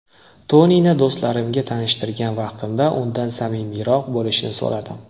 Tonini do‘stlarimga tanishtirgan vaqtimda undan samimiyroq bo‘lishini so‘radim.